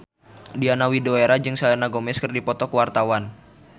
Diana Widoera jeung Selena Gomez keur dipoto ku wartawan